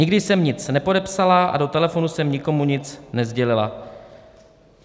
Nikdy jsem nic nepodepsala a do telefonu jsem nikomu nic nesdělila.